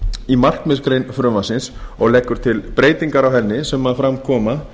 í markmiðsgrein frumvarpsins og leggur til breytingar á henni sem fram koma